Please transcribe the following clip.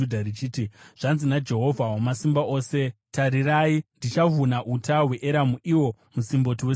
Zvanzi naJehovha Wamasimba Ose: “Tarirai, ndichavhuna uta hweEramu, iwo musimboti wesimba ravo.